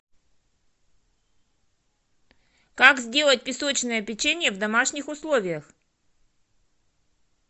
как сделать песочное печенье в домашних условиях